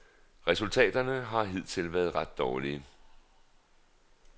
Resultaterne har hidtil været ret dårlige.